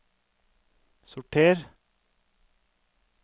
sorter